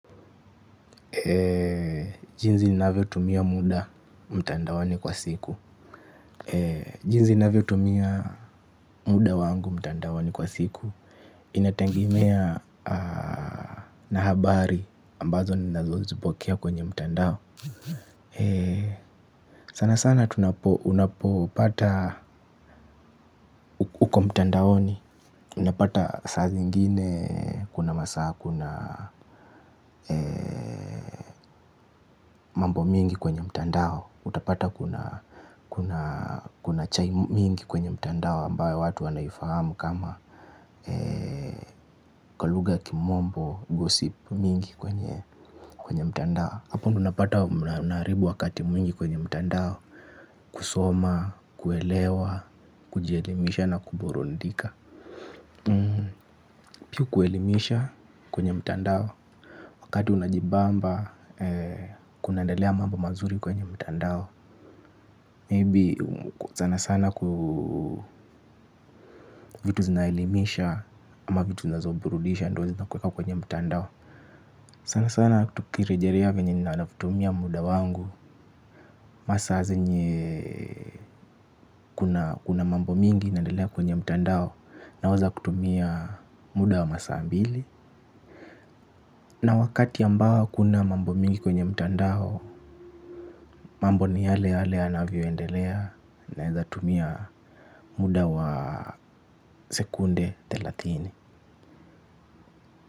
Jinsi ninavyotumia muda mtandaoni kwa siku. Jinsi ninavyotumia muda wangu mtandaoni kwa siku. Inategemea na habari ambazo ninazozipokea kwenye mtandao. Sana sana tunapo unapopata uko mtandaoni. Unapata saa zingine kuna masaa kuna mambo mengi kwenye mtandao utapata kuna kuna chai mingi kwenye mtandao ambayo watu wanaifahamu kama kwa lugha ya kimombo, gossip mingi kwenye mtandao hapo ndio unapata unaharibu wakati mwingi kwenye mtandao kusoma, kuelewa, kujielimisha na kuburudika, pia kuelimisha kwenye mtandao wakati unajibamba kunaendelea mambo mazuri kwenye mtandao. Maybe sana sana vitu zinaelimisha ama vitu zinazoburudisha ndio zinakuweka kwenye mtandao. Sana sana tukirejelea venye ninatumia muda wangu masaa zenye kuna mambo mingi inaendelea kwenye mtandao naweza kutumia muda wa masaa mbili na wakati ambao hakuna mambo mengi kwenye mtandao. Mambo ni yale yale yanavyoendelea naweza tumia muda wa sekunde thelathini.